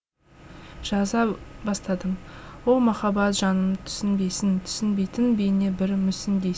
жаза бастадым о махаббат жанымды түсінбейсің түсінбейтін бейне бір мүсіндейсің